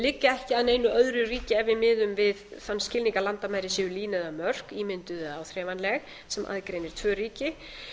liggja ekki að neinu öðru ríki ef við miðum við þann skilning að landamæri séu lína eða mörk ímynduð eða áþreifanleg sem aðgreinir tvö ríki